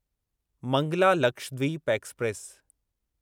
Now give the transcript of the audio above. Mangla Lakshadweep express